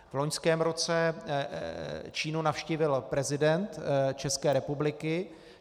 V loňském roce Čínu navštívil prezident České republiky.